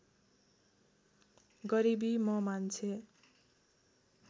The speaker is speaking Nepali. गरिबी म मान्छे